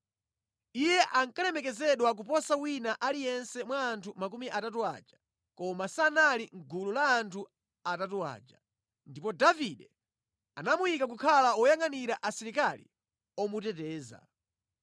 Iye ankalemekezedwa kuposa wina aliyense mwa anthu makumi atatu aja, koma sanali mʼgulu la anthu atatu aja. Ndipo Davide anamuyika kukhala woyangʼanira asilikali omuteteza.